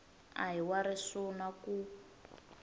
a hi wa risuna ku